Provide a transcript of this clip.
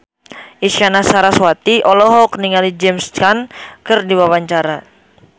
Isyana Sarasvati olohok ningali James Caan keur diwawancara